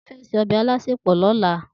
Titi fè sé òbè iláàlásépò lòlá